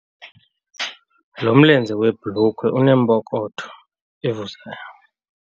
Lo mlenze webhulukhwe uneempokotho evuzayo.